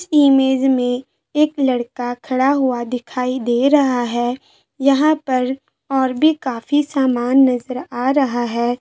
इस इमेज में एक लड़का खड़ा हुआ दिखाई दे रहा है | यहाँ पर और भी काफी सामान नजर आ रहा है |